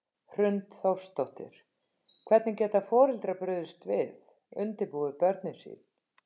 Hrund Þórsdóttir: Hvernig geta foreldrar brugðist við, undirbúið börnin sín?